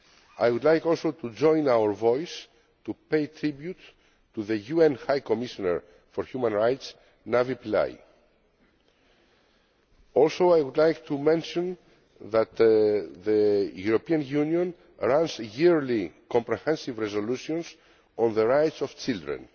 I would also like to join our voice to the tribute paid to the UN High Commissioner for Human Rights, Navi Pillay, and I would like to mention that the European Union has arranged yearly comprehensive resolutions on the rights of children.